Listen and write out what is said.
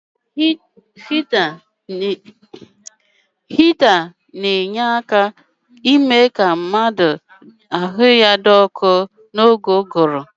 Igwe ọkụ ga-eme ka anyị kpoo ọkụ n'oge harmattan